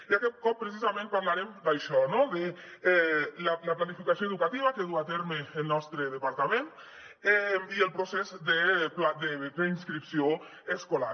i aquest cop precisament parlarem d’això no de la planificació educativa que duu a terme el nostre departament i del procés de preinscripció escolar